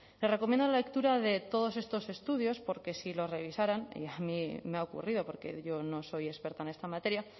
les recomiendo la lectura de todos estos estudios porque si los revisaran y a mí me ha ocurrido porque yo no soy experta en esta materia